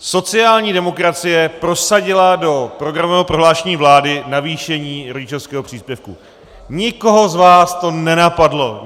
Sociální demokracie prosadila do programového prohlášení vlády navýšení rodičovského příspěvku, nikoho z vás to nenapadlo.